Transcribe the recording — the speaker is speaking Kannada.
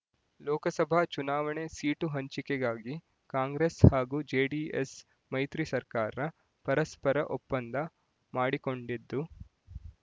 ಲೋಕಸಭಾ ಚುನಾವಣೆ ಸೀಟು ಹಂಚಿಕೆಗಾಗಿ ಕಾಂಗ್ರೆಸ್ ಹಾಗೂ ಜೆಡಿಎಸ್ ಮೈತ್ರಿ ಸರ್ಕಾರ ಪರಸ್ಪರ ಒಪ್ಪಂದ ಮಾಡಿಕೊಂಡಿದ್ದು